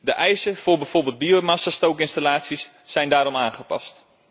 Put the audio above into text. De eisen voor bijvoorbeeld biomassastookinstallaties zijn daarom aangepast.